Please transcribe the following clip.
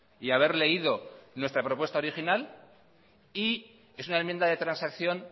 y haber leído nuestra propuesta original es una enmienda de transacción